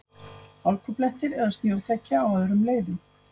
Hálkublettir eða snjóþekja á öðrum leiðum